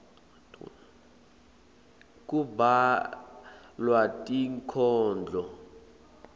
kubhalwa tinkhondlo